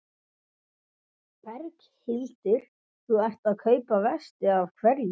Berghildur: Þú ert að kaupa vesti, af hverju?